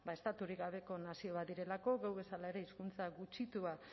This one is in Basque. estaturik gabeko nazio bat direlako geuk bezala ere hizkuntza gutxitua